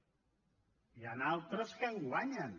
n’hi han d’altres que en guanyen